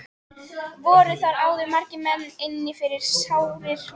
Voru þar áður margir menn inni fyrir sárir mjög.